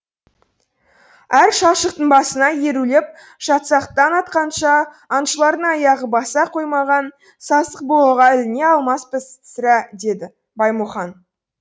әр шалшықтың басына ерулеп жатсақ таң атқанша аңшылардың аяғы баса қоймаған сасықбұғыға іліне алмаспыз сірә деді баймұхан